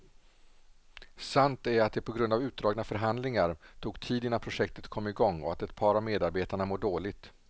Sant är att det på grund av utdragna förhandlingar tog tid innan projektet kom i gång och att ett par av medarbetarna mår dåligt.